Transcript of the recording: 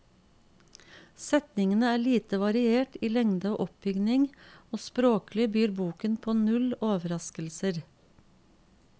Setningene er lite variert i lengde og oppbygning, og språklig byr boken på null overraskelser.